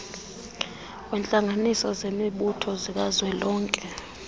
wentlanganisela zemibutho zikazwelonke